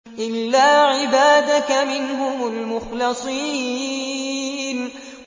إِلَّا عِبَادَكَ مِنْهُمُ الْمُخْلَصِينَ